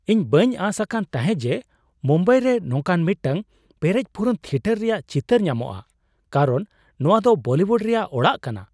ᱤᱧ ᱵᱟᱹᱧ ᱟᱸᱥ ᱟᱠᱟᱱ ᱛᱟᱦᱮᱸᱫ ᱡᱮ ᱢᱩᱢᱵᱟᱭᱨᱮ ᱱᱚᱝᱠᱟᱱ ᱢᱤᱫᱴᱟᱝ ᱯᱮᱨᱮᱡᱼᱯᱩᱨᱩᱱ ᱛᱷᱤᱭᱮᱴᱟᱨ ᱨᱮᱭᱟᱜ ᱪᱤᱛᱟᱹᱨ ᱧᱟᱢᱚᱜᱼᱟ ᱠᱟᱨᱚᱱ ᱱᱚᱶᱟ ᱫᱚ ᱵᱚᱞᱤᱣᱩᱰ ᱨᱮᱭᱟᱜ ᱚᱲᱟᱜ ᱠᱟᱱᱟ ᱾